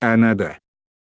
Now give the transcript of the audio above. надо